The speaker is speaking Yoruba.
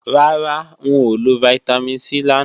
Rárá, n ò lo Vitamin C làná